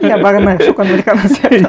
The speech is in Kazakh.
иә бағанағы шоқан уәлиханов сияқты